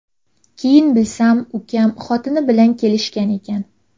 Keyin bilsam, ukam xotini bilan kelishgan ekan.